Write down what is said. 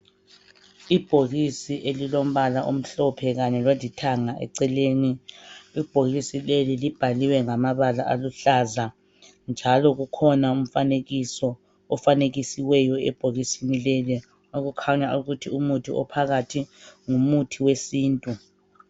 Ibhokisi elilombala omhlophe khanye lolithanga eceleni. Ibhokisi leli libhaliwe ngamabala aluhlaza njalo kukhona umfanekiso ofanekisewo ebhokisini leli okukhanya ukuthi umuthi ophakathi ngumuthi wesintu.